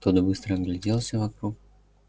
тот быстро огляделся вокруг